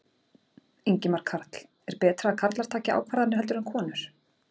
Ingimar Karl: Er betra að karlar taki ákvarðanir heldur en konur?